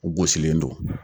U gosilen don